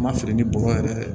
Ma feere ni bɔgɔ yɛrɛ